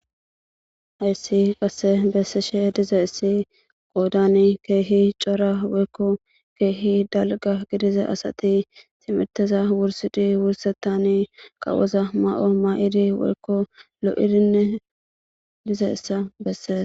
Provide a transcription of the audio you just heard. Hayssi qasse bessishe dizayssi qoodani keehi cora woykko keehi dalgga gidiza asati timirteza wurssidi wursetani qawoza ma'o ma'idi woykko lo'irinne dizayssa bessees.